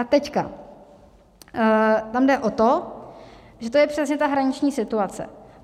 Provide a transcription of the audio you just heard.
A teď tam jde o to, že to je přesně ta hraniční situace.